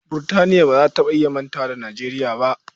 Burtaniyat ba za ta manta da Nijeriya ba.